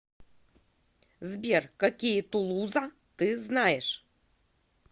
сбер какие тулуза ты знаешь